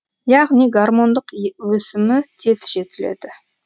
яғни гармондық өсімі тез жетіледі